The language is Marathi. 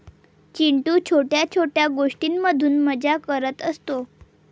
चिंटू छोट्या छोट्या गोष्टींमधून मजा करत असतो.